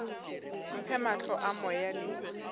mphe mahlo a moya le